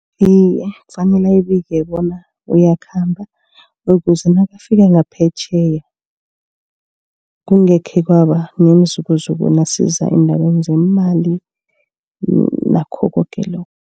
Iye kufanele abike bona uyakhamba. Ukuze nakafika ngaphetjheya kungekhe kwaba nemizukuzuku. Nasiza endabeni zeemali nakho koke lokhu.